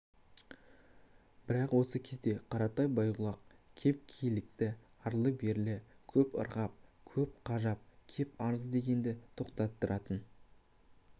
бірақ осы кезде қаратай байғұлақ кеп килікті арлы-берлі көп ырғап көп қажап кеп арыз дегенді тоқтаттыратын